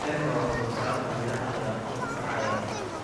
Heerka wax-soo-saarka miraha ayaa kor u kacaya.